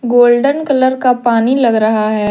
Golden colour का पानी लग रहा है।